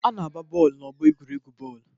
A na-agba bọọlụ n'ọgbọ egwuregwu bọọlụ.